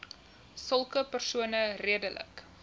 sulke persone redelik